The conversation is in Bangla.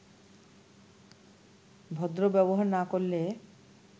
ভদ্র ব্যবহার না করলে